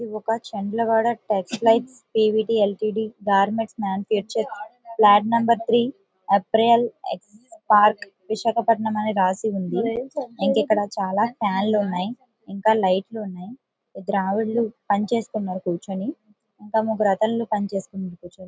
ఇది ఒక చెంద్రగాఢ test light DVD LCD garments manufacture flat number three ఆబ్రియెల్ ఎక్స్ పార్క్ విశాఖపట్నం అన్ని రాసి ఉంది. ఇంకా ఇక్కడ చాలా ఫ్యాన్లు ఉన్నాయి. ఇంకా లైట్ ఉన్నాయి. ఇద్దరు ఆవిడులు పని చేస్తున్నారు కూర్చొని. ఇంకా ముగ్గురు అతనులు పనిచేస్తున్నాయి.